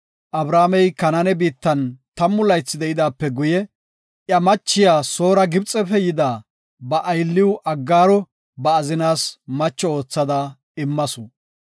Abramey Kanaane biittan tammu laythi de7idaape guye, iya machiya Soora Gibxefe yida ba aylliw Aggaaro ba azinaas macho oothada immasu.